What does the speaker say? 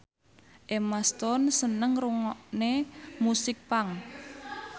Emma Stone seneng ngrungokne musik punk